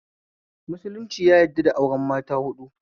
Musulunci yadda da auren mata haɗu